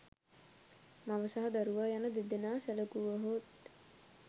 මව සහ දරුවා යන දෙදෙනා සැලකුවහොත්